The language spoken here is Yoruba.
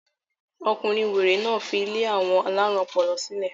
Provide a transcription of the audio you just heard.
Ọkùnrin wèrè náà fi ilé àwọn alárùn ọpọlọ sílẹ̀.